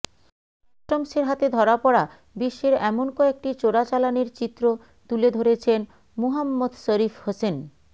কাস্টমসের হাতে ধরা পড়া বিশ্বের এমন কয়েকটি চোরাচালানের চিত্র তুলে ধরেছেন মুহাম্মদ শরীফ হোসেন